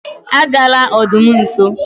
agala nso odum